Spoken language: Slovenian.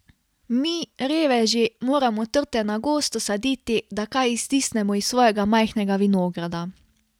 Mi, reveži, moramo trte na gosto saditi, da kaj iztisnemo iz svojega majhnega vinograda.